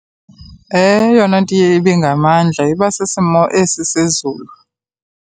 Eyona nto iye ibe ngamandla iba sisimo esi sezulu.